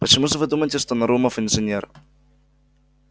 почему же вы думаете что нарумов инженер